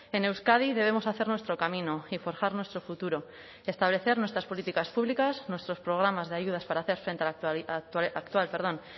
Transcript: en euskadi debemos hacer nuestro camino y forjar nuestro futuro establecer nuestras políticas públicas nuestros programas de ayudas para hacer frente a la actual